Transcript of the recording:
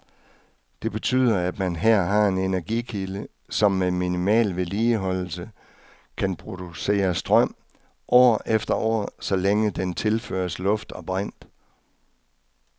Det betyder, at man her har en energikilde, som med minimal vedligeholdelse kan producere strøm år efter år, så længe den tilføres luft og brint.